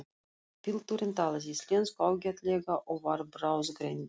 Pilturinn talaði íslensku ágætlega og var bráðgreindur.